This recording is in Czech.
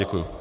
Děkuji.